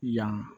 Yan